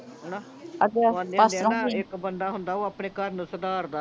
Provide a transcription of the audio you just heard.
ਹਣਾ ਅੱਛਾ ਪਾਸਟਰ ਹੁਣੀ ਇੱਕ ਬੰਦਾ ਹੁੰਦਾ ਓਹ ਆਪਣੇ ਘਰ ਨੂੰ ਸੁਧਾਰਦਾ ਆ